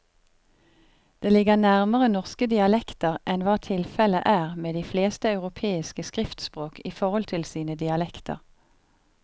Det ligger nærmere norske dialekter enn hva tilfellet er med de fleste europeiske skriftspråk i forhold til sine dialekter.